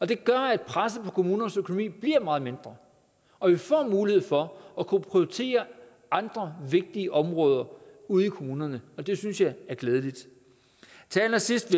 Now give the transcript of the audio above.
det gør at presset på kommunernes økonomi bliver meget mindre og vi får mulighed for at kunne prioritere andre vigtige områder ude i kommunerne og det synes jeg er glædeligt til allersidst